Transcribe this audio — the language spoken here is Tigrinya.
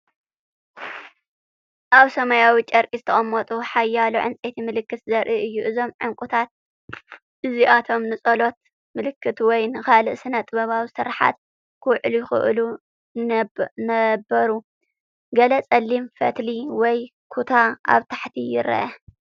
ኣብ ሰማያዊ ጨርቂ ዝተቐመጡ ሓያሎ ዕንጨይቲ ምልክት ዘርኢ እዩ። እዞም ዕንቊታት እዚኣቶም ንጸሎት ምልክት ወይ ንኻልእ ስነ-ጥበባዊ ስርሓት ኪውዕሉ ይኽእሉ ነበሩ። ገለ ጸሊም ፈትሊ ወይ ኩታ ኣብ ታሕቲ ይርአ።